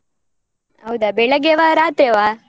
ಹೌದಾ ಬೆಳಗ್ಗೆವಾ? ರಾತ್ರೆವಾ?